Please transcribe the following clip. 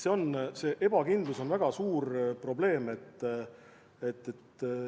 Selline ebakindlus on väga suur probleem.